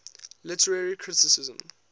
literary criticism